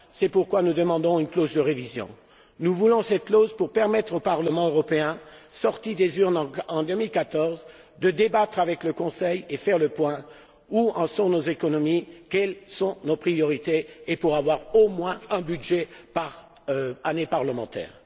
fin. C'est pourquoi nous demandons une clause de révision. Nous voulons cette clause pour permettre au Parlement européen qui sortira des urnes en 2014 de débattre avec le Conseil et de faire le point sur nos économies et nos priorités et pour avoir au moins un budget par année parlementaire.